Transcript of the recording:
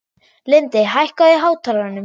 Lindi, hækkaðu í hátalaranum.